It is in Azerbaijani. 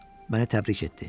Məni təbrik etdi.